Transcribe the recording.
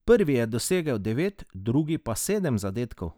Prvi je dosegel devet, drugi pa sedem zadetkov.